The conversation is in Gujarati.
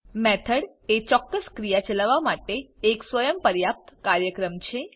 મેથોડ એ ચોક્કસ ક્રિયા ચલાવવા માટે એક સ્વયં પર્યાપ્ત કાર્યક્રમ છે